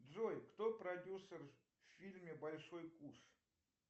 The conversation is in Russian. джой кто продюсер в фильме большой куш